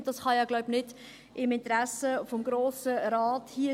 Dies kann ja, glaube ich, nicht im Interesse des Grossen Rates sein.